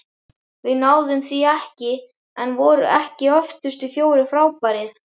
Við náðum því ekki- en voru ekki öftustu fjórir frábærir?